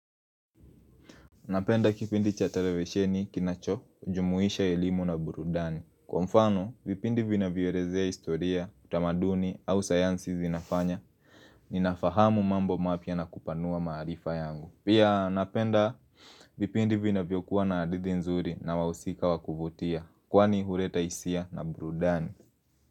Napenda kipindi chatelevesheni kinacho ujumuisha ilimu na burudani Kwa mfano, vipindi vina vyorezea historia, utamaduni au sayansi zinafanya Ninafahamu mambo mapya na kupanua marifa yangu Pia napenda vipindi vina vyokuwa na hadithi nzuri na wausika wakuvutia Kwani huleta hisia na burudani.